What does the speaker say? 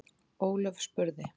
Ólöf spurði: